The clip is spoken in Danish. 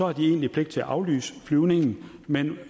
har de egentlig pligt til at aflyse flyvningen men